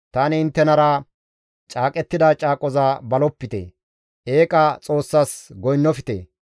Tani inttenara caaqettida caaqoza balopite; eeqa xoossas goynnofte.